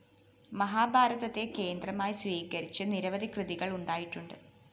മഹാഭാരതത്തെ കേന്ദ്രമായി സ്വീകരിച്ച് നിരവധി കൃതികള്‍ ഉണ്ടായിട്ടുണ്ട്